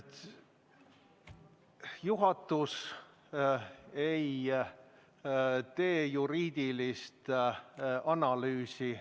Juhatus ei tee juriidilist analüüsi.